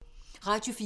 Radio 4